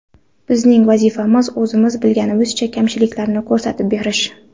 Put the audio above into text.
Bizning vazifamiz, o‘zimiz bilganimizcha kamchiliklarni ko‘rsatib berish.